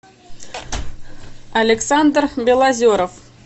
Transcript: александр белозеров